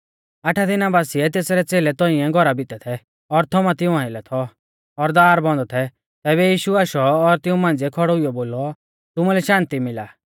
आठा दिना बासिऐ तेसरै च़ेलै तौंइऐ घौरा भितै थै और थोमा तिऊं आइलै थौ और दार बन्द थै तैबै यीशु आशौ और तिऊं मांझ़िऐ खौड़ौ हुईऔ बोलौ तुमुलै शान्ति मिला